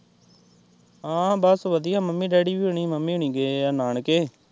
ਹਾਂ ਬਸ ਵਧੀਆ ਮੰਮੀ-ਡੈਡੀ ਹੁਣੀ ਵੀ ਮੰਮੀ ਹੁਣੀ ਗਏ ਏ ਨਾਨਕੇ।